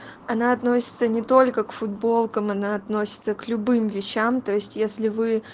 она относится не только к футболкам она относится к любым вещам то есть если вы